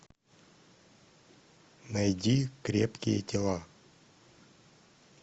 найди крепкие тела